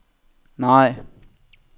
nej